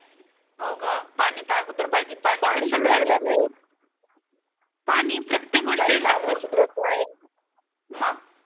हो ग पानी अगोदर पाहिजे पाणी पानी प्रत्येक गोष्टीला मग